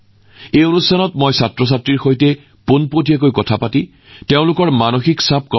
যোৱা ৭ বছৰত পৰীক্ষা পে চৰ্চা শিক্ষা আৰু পৰীক্ষাৰ লগত জড়িত বিভিন্ন বিষয়ত মত বিনিময়ৰ এক মহান মাধ্যম হিচাপে আত্মপ্ৰকাশ কৰিছে